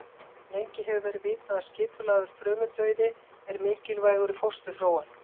Lengi hefur verið vitað að skipulagður frumudauði er mikilvægur í fósturþróun.